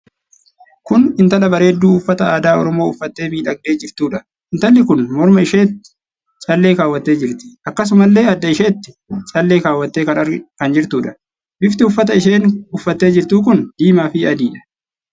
Kun intala bareedduu uffata aadaa Oromoo uffattee miidhagdee jirtuudha. Intalli kun morma isheetti callee kaawwattee jirti. Akkasumallee adda isheettis callee kaawwattee kan jirtuudha. Bifti uffata isheen uffattee jirtuu kun diimaa fi adiidha.